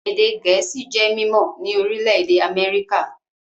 Èdè Gẹ̀ẹ́sì jẹ́ mímọ́ ní orílẹ̀-èdè Amẹ́ríkà